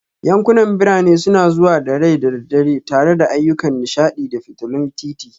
Yankunan birane suna zuwa da rai da dare tare da ayyukan nishaɗi da fitulun titi